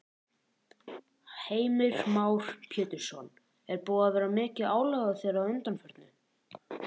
Heimir Már Pétursson: Er búið að vera mikið álag á þér að undanförnu?